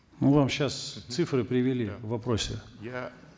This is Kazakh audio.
мы вам сейчас цифры привели в вопросе я